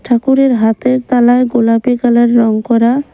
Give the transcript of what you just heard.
ঠাকুরের হাতের তালায় গোলাপী কালার রঙ করা।